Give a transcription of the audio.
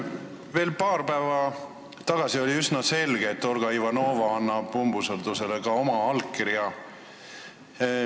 Veel paar päeva tagasi oli üsna selge, et Olga Ivanova annab umbusaldusavaldusele ka oma allkirja.